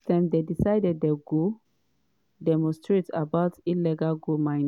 dis time dem decide say dey go demonstrate about illegal gold mining.